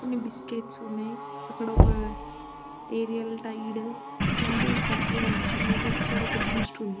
కొన్ని బిస్కెట్స్ ఉన్నాయి. అక్కడ ఒక ఏరియల్ టైడ్ ఇట్లాంటివి సరుకులు కనిపిస్తున్నాయి. లెఫ్ట్ సైడ్ ఒక బూస్ట్ ఉంది.